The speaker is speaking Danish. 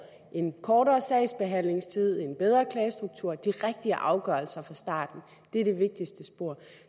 en kortere sagsbehandlingstid en bedre klagestruktur og de rigtige afgørelser fra starten det er det vigtigste spor